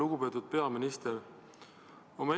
Lugupeetud peaminister!